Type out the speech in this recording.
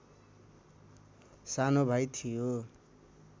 सानो भाइ थियो